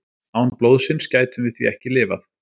Án blóðsins gætum við því ekki lifað.